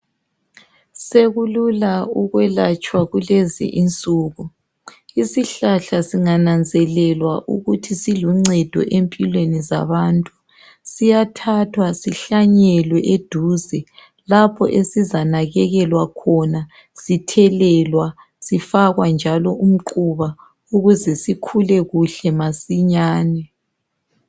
Sekulula ukwelatshwa kulezi insuku. Isihlahla singananzelelwa ukuthi siluncedo empilweni zabantu, siyathathwa sihlanyelwe eduze lapho esizanakelelwa khona sithelelwa, sifakwa njalo umquba, ukuze sikhule kuhle masinyane.